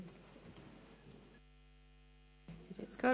Sie haben es gehört.